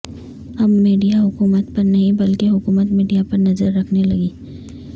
اب میڈیا حکومت پر نہیں بلکہ حکومت میڈیا پر نظر رکھنے لگی